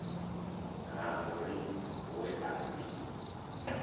ha maureen we a ḓi